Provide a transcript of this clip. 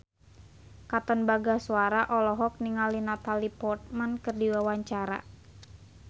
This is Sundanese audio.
Katon Bagaskara olohok ningali Natalie Portman keur diwawancara